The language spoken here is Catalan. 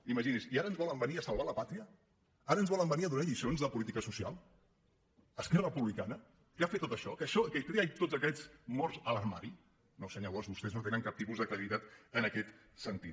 imagini’s i ara ens volen venir a salvar la pàtria ara ens vo·len venir a donar lliçons de política social esquerra republicana que ha fet tot això que té tots aquests morts a l’armari no senyor bosch vostès no tenen cap tipus de credibilitat en aquest sentit